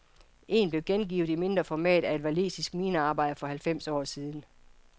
En blev gengivet i mindre format af en walisisk minearbejder for halvfems år siden.